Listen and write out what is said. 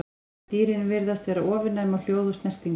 Dýrin virðast vera ofurnæm á hljóð og snertingu.